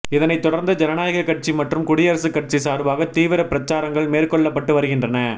இதனைத் தொடர்ந்து ஜனநாயகக் கட்சி மற்றும் குடியரசுக் கட்சி சார்பாக தீவிரப் பிரச்சாரங்கள் மேற்கொள்ளப்பட்டு வருகின்றன